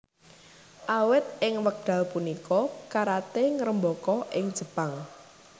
Awit ing wekdal punika karaté ngrembaka ing Jepang